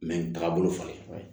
Mɛ nin tagabolo faamu